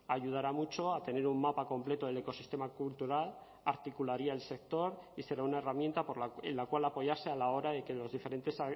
ayudará mucho a tener un mapa completo del ecosistema cultural articularía el sector y será una herramienta en la cual apoyarse a la hora de que los diferentes